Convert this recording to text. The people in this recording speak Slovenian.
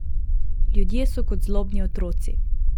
Ljudje so kot zlobni otroci.